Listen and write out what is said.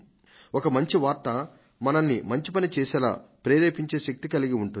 ఒక మంచి వార్త మనల్ని మంచి పని చేసేలా ప్రేరేపించే శక్తిని కలిగి ఉంటుంది